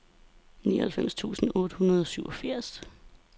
nioghalvfems tusind otte hundrede og syvogfirs